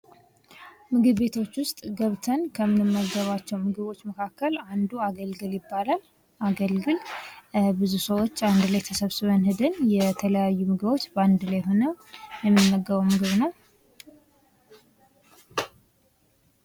ምግብ ቤቶች ውስጥ ገብታን ከምንመገባቸው ምግቦች መካከል አንዱ አገልግል ይባላል፤ አገልግል ብዙ ሰዎች አንድ ላይ ተሰብስበው የተለያዩ ምግቦች ሆኖ የሚመገበው ምግብ ነው፡፡